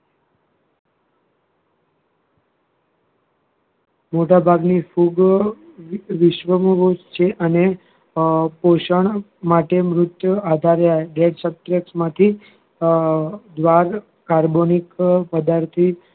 મોટાભાગની ફૂગ વિશ્વમાં બોઉં જ છે અને અ પોષણ માટે મૃત આધારે dead subtract માંથી અ દ્રાર carbonic પદાર્થો